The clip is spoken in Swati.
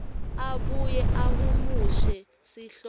abuye ahumushe sihloko